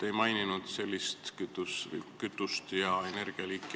Te ei maininud sellist kütust ja energialiiki.